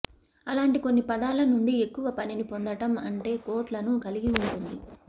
అలాంటి కొన్ని పదాల నుండి ఎక్కువ పనిని పొందడం అంటే కోట్ లను కలిగి ఉంటుంది